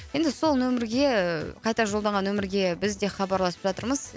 енді сол нөмірге ііі қайта жолданған нөмірге біз де хабарласып жатырмыз